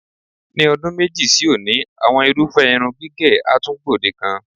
Ní o̩dún méjì sí òní, àwo̩n irúfé̩ irun gígè̩ á tún gbòdekan.